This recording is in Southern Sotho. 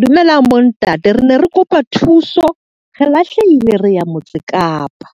Dumelang bontate, re ne re kopa thuso re lahlehile, re ya motse Kapa.